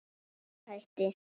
Ég hætti.